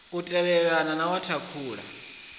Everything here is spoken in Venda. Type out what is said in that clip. u tevhelelana na wa thakhula